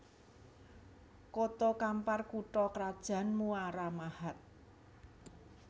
Koto Kampar kutha krajan Muara Mahat